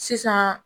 Sisan